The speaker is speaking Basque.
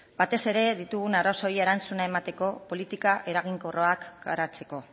batez ere ditugun arazoei erantzuna emateko politika eraginkorrak garatzeko